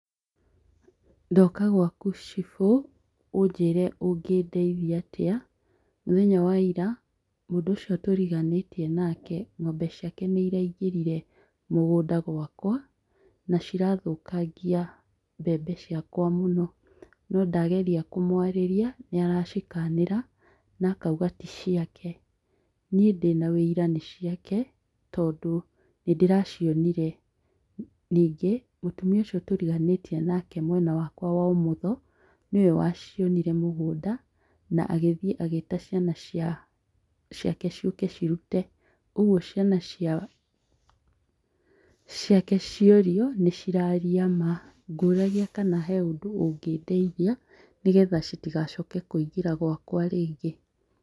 Ndoka gwaku cibũ, ũnjĩre ũngĩndeithia atĩa. Mũthenya wa ira, mũndũ ũcio tũriganĩtie nake, ng'ombe ciake nĩiraingĩrire mũgũnda gwakwa nacirathũkangia mbembe ciakwa mũno, nondageria kũmwarĩria , nĩaracikanĩra na akauga ticiake. Niĩ ndĩna wĩira nĩciake tondũ nĩndĩracionire. Nyingĩ, mũtumia ũcio tũriganĩtie nake mwena wakwa wa ũmotho, nĩwe wacionire mũgũnanda na agĩthiĩ na agĩta ciana ciake ciũke cirute . ũguo ciana, ciana, ciake ciorio, nĩciraria maa. Ngũragia kana he ũndũ ũngĩndeithia, nĩgetha citigacoke kũingĩra gwakwa rĩngĩ.